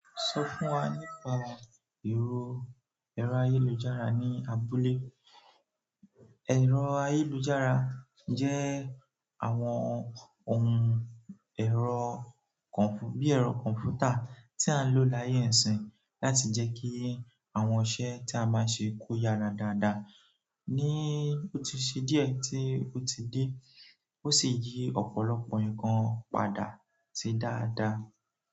Sọ fún wa nípa èrò ayélujára ní abúlé. Èrò ayélujára jẹ́ àwọn ohun èrò kọ̀nfú bí èrò kọ̀nfútà tí a lò láyé isin láti jẹ́ kí àwọn iṣẹ́ tí a máa ṣe kó yára dáadáa. Ni ó ti ṣe díẹ̀ tí ó ti dé, ó sì yí ọ̀pọ̀lọpọ̀ nǹkan padà sí dáadáa.